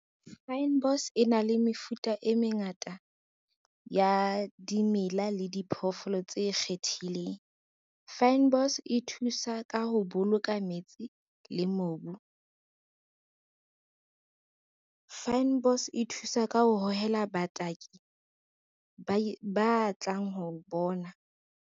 Fynbos e na le mefuta e mengata ya dimela le diphoofolo tse kgethileng. Fynbos e thusa ka ho boloka metsing le mobu. Fynbos e thusa ka ho hohela bataki ba tlang ho bona.